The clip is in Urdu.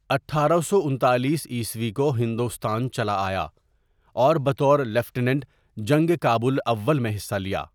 اٹھارہ سو انتالیس عیسوی کو ہندوستان چلا آیا اور بطور لیفٹینٹ جنگ کابل اول میں حصہ لیا.